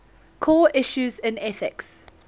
core issues in ethics